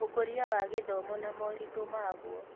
Ũkũria wa gĩthomo na moritũ maguo